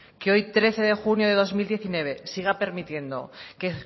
que hoy trece de junio del dos mil diecinueve siga permitiendo que